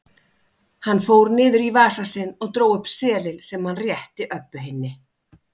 Hann fór niður í vasa sinn og dró upp seðil sem hann rétti Öbbu hinni.